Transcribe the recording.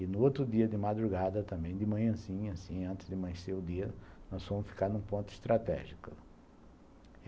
E no outro dia de madrugada, também de manhãzinha, assim, antes de amanhecer o dia, nós fomos ficar em um ponto estratégico.